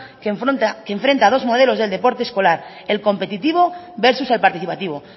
que enfrenta a dos modelos de deporte escolar el competitivo versus el participativo